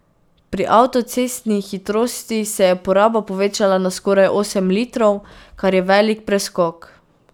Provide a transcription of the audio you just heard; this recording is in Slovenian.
Pri avtocestnih hitrostih se je poraba povečala na skoraj osem litrov, kar je velik preskok.